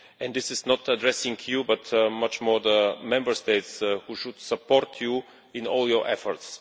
And this is not addressing you but much more the Member States, who should support you in all your efforts.